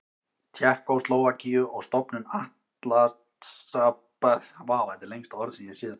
Tékkóslóvakíu og stofnun Atlantshafsbandalagsins.